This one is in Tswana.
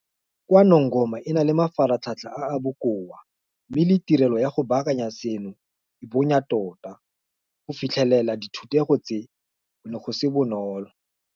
KwaNongoma e na le mafaratlhatlha a a bokoa mme le tirelo ya go baakanya seno e bonya tota. Go fitlhelela dithutego tse go ne go se bonolo.